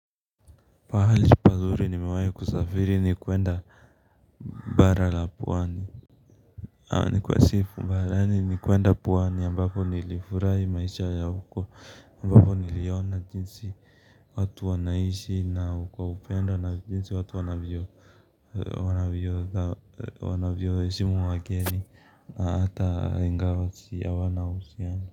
Pahali pazuri nimewai kusafiri ni kuenda bara la pwani. Ni kwani nilienda pwani ambapo nilifurahi maisha ya huko. Ambapo niliona jinsi watu wanaishi na kwa upendo na jinsi watu wanavyo wanavyo heshimu wageni na ata ingawa hawana uhusiano.